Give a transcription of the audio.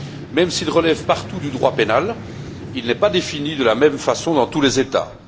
Même s'il relève partout du droit pénal, il n'est pas défini de la même façon dans tous les États.